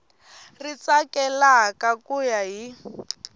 ri tsakelaka ku ya hi